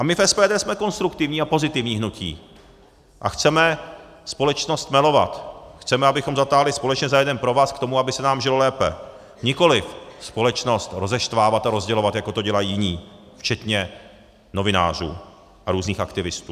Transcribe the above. A my v SPD jsme konstruktivní a pozitivní hnutí a chceme společnost stmelovat, chceme, abychom zatáhli společně za jeden provaz k tomu, aby se nám žilo lépe, nikoliv společnost rozeštvávat a rozdělovat, jako to dělají jiní, včetně novinářů a různých aktivistů.